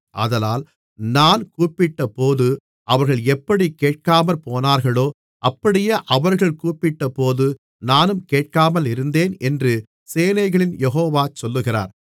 ஆதலால் நான் கூப்பிட்டபோது அவர்கள் எப்படி கேட்காமற்போனார்களோ அப்படியே அவர்கள் கூப்பிட்டபோது நானும் கேட்காமலிருந்தேன் என்று சேனைகளின் யெகோவா சொல்லுகிறார்